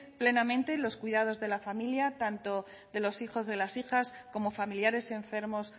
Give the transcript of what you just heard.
plenamente en los cuidados de la familia tanto de los hijos de las hijas como familiares enfermos